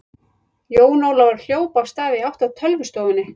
Jón Ólafur hljóp af stað í átt að tölvustofunni.